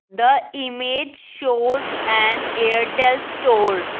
the image shows and airtel store.